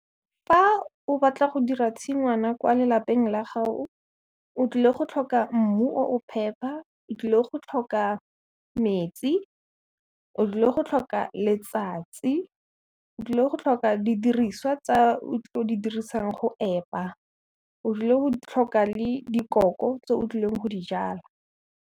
Fa o batla go dira tshingwana kwa lelapeng la ga'o, o tlile go tlhoka mmu o o phepa, o tlile go tlhoka metsi, o tlile go tlhoka letsatsi, o tlile go tlhoka didiriswa tsa o di dirisang go epa, o tlile go tlhoka le dikoko tse o tlileng go di jala.